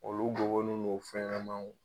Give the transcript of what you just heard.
Olu gɔbɔnun no fɛn ɲɛnɛmaw.